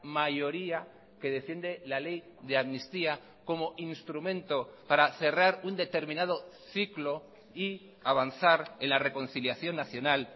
mayoría que defiende la ley de amnistía como instrumento para cerrar un determinado ciclo y avanzar en la reconciliación nacional